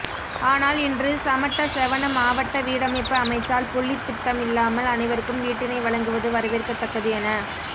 ஆனால் இன்று சமட்ட செவண மாவட்ட வீடமைப்பு அமைச்சால் புள்ளித்திட்டம் இல்லாமல் அனைவருக்கும் வீட்டினை வழங்குவது வரவேற்கத்தக்கது என